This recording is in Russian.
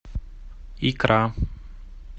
икра